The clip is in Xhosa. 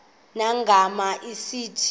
nangona sithi le